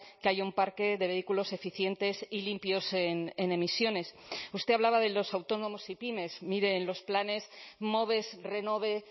que haya un parque de vehículos eficientes y limpios en emisiones usted hablaba de los autónomos y pymes mire en los planes moves renove